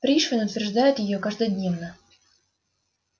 пришвин утверждает её каждодневно